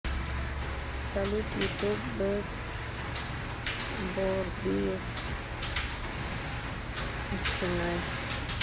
салют ютуб бэк борбиев эркинай